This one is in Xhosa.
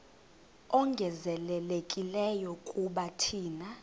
ongezelelekileyo kuba thina